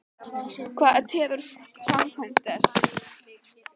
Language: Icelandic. Hvað tefur framkvæmd þess?